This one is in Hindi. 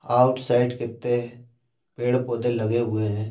आउटसाइड कितने पेड़ पौधे लगे हुए हैं।